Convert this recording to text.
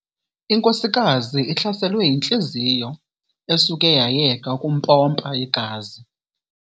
Inkosikazi ihlaselwe yintliziyo esuke yayeka ukumpompa igazi.